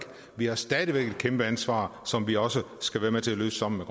vi har stadig væk et kæmpe ansvar som vi også skal være med til at løfte sammen